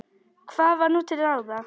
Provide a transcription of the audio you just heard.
Hvað var nú til ráða?